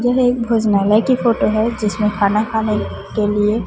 यह एक भोजनालय की फोटो है जिसमें खाना खाने के लिए--